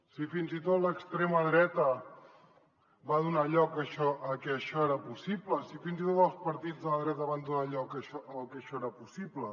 si fins i tot l’extrema dreta va donar lloc a que això era possible si fins i tot els partits de la dreta van donar lloc a que això era possible